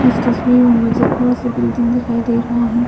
इस तस्वीर में मुझे बहुत सा बिल्डिंग दिखाई दे रहा है।